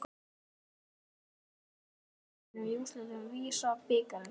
Hverjir skoruðu mörk Keflvíkinga í úrslitum VISA-bikarsins?